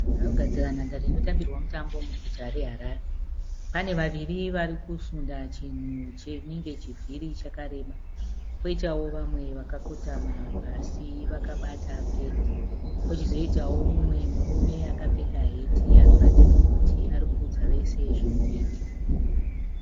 Vanhu vari kugadzira nhandare inotambirwa mutambo muguta reHarare. Pane vaviri vari kusunda chinhu chinenge chivhiri chakareba. Kwoita vamwe vakakotama pasi vakabata pendi. Pochizoitawo mumwe murume akapfeka heti anoratidza kuti ari kuudza vese zvekuita.